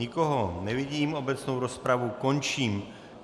Nikoho nevidím, obecnou rozpravu končím.